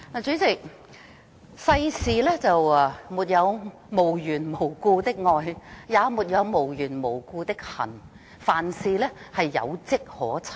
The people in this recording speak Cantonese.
主席，世上沒有無緣無故的愛，也沒有無緣無故的恨，凡事皆有跡可尋。